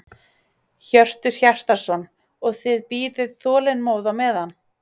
Hjörtur Hjartarson: Og þið bíðið þolinmóð á meðan?